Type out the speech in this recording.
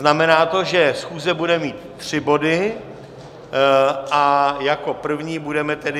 Znamená to, že schůze bude mít tři body, a jako první budeme tedy...